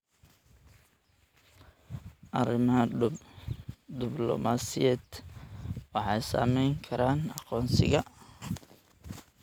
Arrimaha dublamaasiyadeed waxay saamayn karaan aqoonsiga.